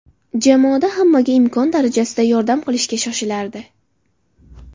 Jamoada hammaga imkon darajasida yordam qilishga shoshilardi.